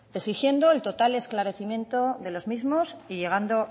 exigiendo el total esclarecimiento de los mismos y llegando